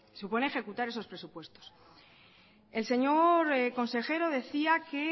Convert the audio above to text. supone ejecutar esos presupuestos el señor consejero decía que